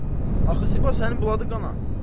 Ana, axı Ziba sənin buladı qana.